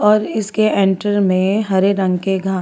और इसके इंटर में हरे रंग के घा--